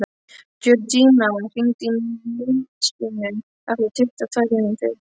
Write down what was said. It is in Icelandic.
Jörgína, hringdu í Nilsínu eftir tuttugu og tvær mínútur.